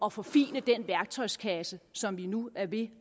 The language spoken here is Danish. at forfine den værktøjskasse som vi nu er ved